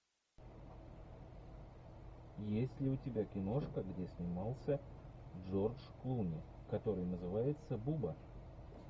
есть ли у тебя киношка где снимался джордж клуни который называется буба